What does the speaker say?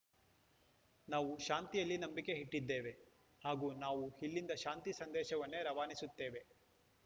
ನಾವು ಶಾಂತಿಯಲ್ಲಿ ನಂಬಿಕೆ ಇಟ್ಟಿದ್ದೇವೆ ಹಾಗೂ ನಾವು ಇಲ್ಲಿಂದ ಶಾಂತಿ ಸಂದೇಶವನ್ನೇ ರವಾನಿಸುತ್ತೇವೆ